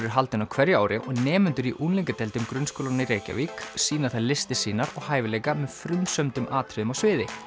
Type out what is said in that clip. er haldinn á hverju ári og nemendur í unglingadeildum grunnskólanna í Reykjavík sýna þar listir sínar og hæfileika með frumsömdum atriðum á sviði